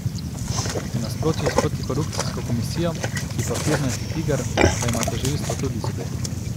V nasprotju s protikorupcijsko komisijo, ki je papirnati tiger, pa ima tožilstvo tudi zobe.